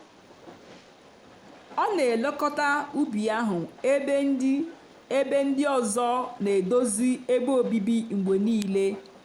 ọ n'elekọta ubi ahụ ebe ndị ebe ndị ọzọ n'edozi ebe obibi mgbe niile.